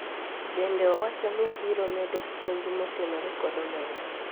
bende owacho ni obiro medo puonj motenore kod omenda